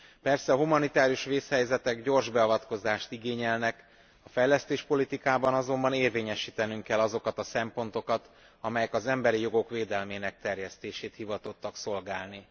Persze a humanitárius vészhelyzetek gyors beavatkozást igényelnek, a fejlesztéspolitikában azonban érvényesítenünk kell azokat a szempontokat, amelyek az emberi jogok védelmének terjesztését hivatottak szolgálni.